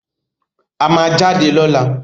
A máa jáde lọ́la!